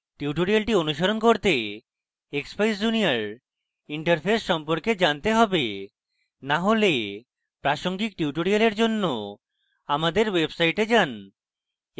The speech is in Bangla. tutorial অনুসরণ করতে expeyes junior interface সম্পর্কে জানতে হবে to হলে প্রাসঙ্গিক tutorial জন্য আমাদের ওয়েবসাইটটে যান